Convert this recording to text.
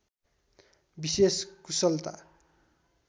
विशेष कुशलता